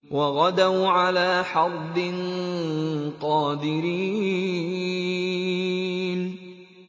وَغَدَوْا عَلَىٰ حَرْدٍ قَادِرِينَ